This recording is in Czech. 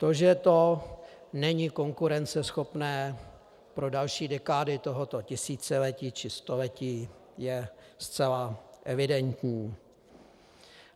To, že to není konkurenceschopné pro další dekády tohoto tisíciletí či století, je zcela evidentní.